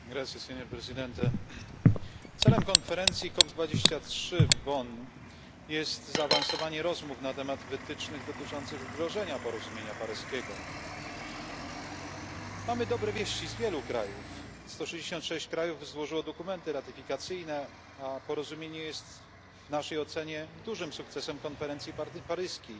Panie Przewodniczący, celem konferencji COP23 w Bonn jest zaawansowanie rozmów na temat wytycznych dotyczących wdrożenia porozumienia paryskiego. Mamy dobre wieści z wielu krajów, 166 krajów złożyło dokumenty ratyfikacyjne, a porozumienie jest w naszej ocenie dużym sukcesem konferencji paryskiej,